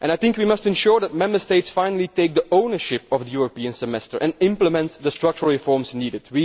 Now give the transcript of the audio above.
We must ensure that Member States finally take ownership of the European Semester and implement the structural reforms needed.